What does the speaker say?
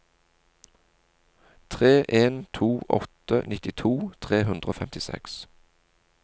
tre en to åtte nittito tre hundre og femtiseks